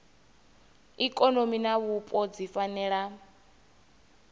ikonomi na vhupo dzi fanela